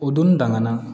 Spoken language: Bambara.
O donni dangan